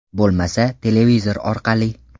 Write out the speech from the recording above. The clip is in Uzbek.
Bo‘lmasa, televizor orqali.